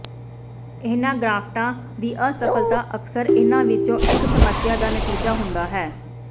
ਇਹਨਾਂ ਗ੍ਰਫਟਾਂ ਦੀ ਅਸਫਲਤਾ ਅਕਸਰ ਇਨ੍ਹਾਂ ਵਿੱਚੋਂ ਇੱਕ ਸਮੱਸਿਆ ਦਾ ਨਤੀਜਾ ਹੁੰਦਾ ਹੈ